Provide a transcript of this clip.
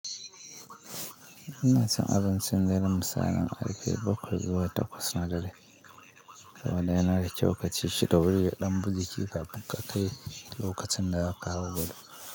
Ina son abun cinda yanuwa musa yan arika bakwai zuwa takwas na dare. Saboda yana da kyau ka ci shida wuri ya dan bujiki kafin ka kai lokacin da zaka hau gado.